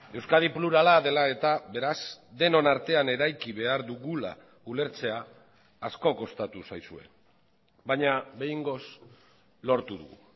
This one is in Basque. euskadi plurala dela eta beraz denon artean eraiki behar dugula ulertzea asko kostatu zaizue baina behingoz lortu dugu